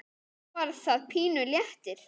Þá var það pínu léttir.